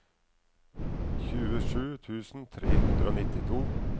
tjuesju tusen tre hundre og nittito